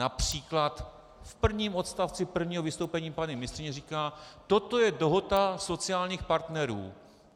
Například v prvním odstavci prvního vystoupení paní ministryně říká: Toto je dohoda sociálních partnerů.